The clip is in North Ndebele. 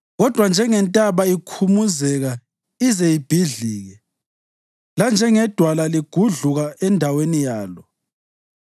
Kodwa njengentaba ikhumuzeka ize ibhidlike, lanjengedwala ligudluka endaweni yalo,